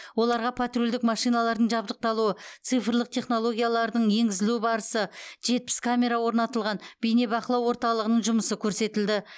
оларға патрульдік машиналардың жабдықталуы цифрлық технологиялардың енгізілу барысы жетпіс камера орнатылған бейнебақылау орталығының жұмысы көрсетілді